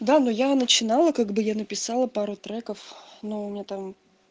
да но я начинала как бы я написала пару треков но у меня там